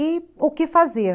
E o que fazer?